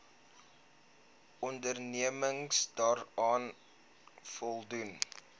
onderneming daaraan voldoen